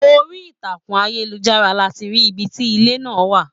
Orí ìtàkùn ayelujara láti rí ibì ti ilé náà wà.